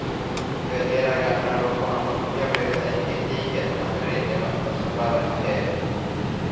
ગજેરા ગામના લોકોનો મુખ્ય વ્યવસાય ખેતી ખેતમજૂરી તેમ જ પશુપાલન છે